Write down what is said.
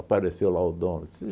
Apareceu lá o dono. Disse